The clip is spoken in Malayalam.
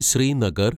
ശ്രീനഗർ